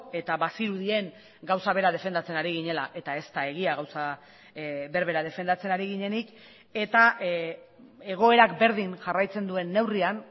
eta bazirudien gauza bera defendatzen ari ginela eta ez da egia gauza berbera defendatzen ari ginenik eta egoerak berdin jarraitzen duen neurrian